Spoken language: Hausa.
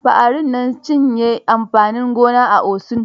Faari nancinye amfanin gona a Osun.